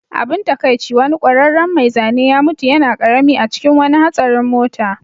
Abin takaici, wani ƙwararren mai zane ya mutu yana ƙarami a cikin wani hatsarin mota